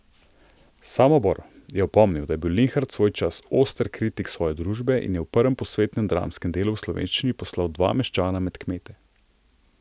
Samobor je spomnil, da je bil Linhart svoj čas oster kritik svoje družbe in je v prvem posvetnem dramskem delu v slovenščini poslal dva meščana med kmete.